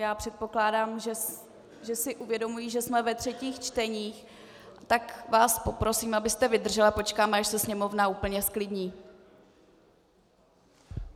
Já předpokládám, že si uvědomují, že jsme ve třetích čteních, tak vás poprosím, abyste vydržel, a počkáme, až se Sněmovna úplně zklidní.